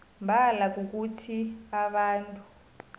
mbala kukuthi abantu